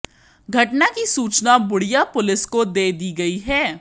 घटना की सूचना बूडिया पुलिस को दे दी गई है